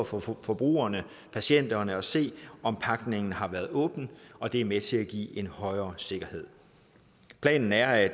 for for forbrugerne patienterne at se om pakningen har været åbnet og det er med til at give en højere sikkerhed planen er at